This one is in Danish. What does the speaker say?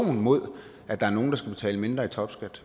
enkelt